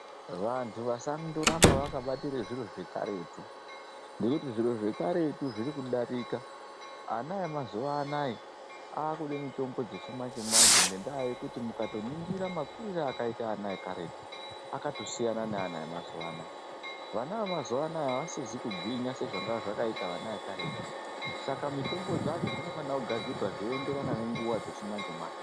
Vantu vasandoramba vakabatire zviro zvekaretu ngekuti zviro zvekaretu zvirikudarika. Ana emazuwa anaya akude mitombo dzechimanje-manje ngendaa yekuti mukatoningira makurire akaita ana ekaretu akatosiyana neana emazuwa anaya. Vana vemazuwa anaya avasizi kugwinya sezvanga zvakaita vana vekaretu Saka mitombo dzacho dzinofana kugadzira zvichienderana nenguwa dzechimanje-manje.